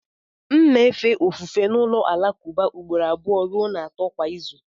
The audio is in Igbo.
M na-efe ofufe n'ụlọ alakụba ugboro abụọ ruo atọ kwa izu